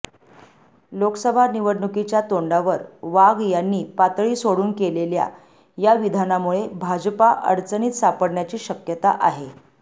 लोकसभा निवडणुकीच्या तोंडावर वाघ यांनी पातळी सोडून केलेल्या या विधानामुळे भाजपा अडचणीत सापडण्याची शक्यता आहे